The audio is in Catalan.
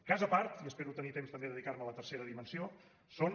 cas a part i espero tenir temps també de dedicar me a la tercera dimensió són